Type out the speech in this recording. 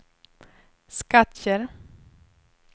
Skattkärr